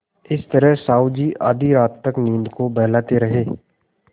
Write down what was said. इस तरह साहु जी आधी रात तक नींद को बहलाते रहे